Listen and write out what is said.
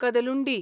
Kadalundi